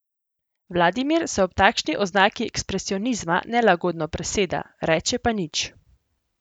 Vladimir se ob takšni oznaki ekspresionizma nelagodno preseda, reče pa nič.